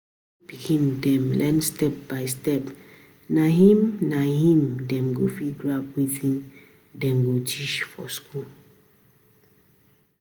Na wen pikin dem learn step-by-step na im na im dem go fit grab wetin dem dey teach for school.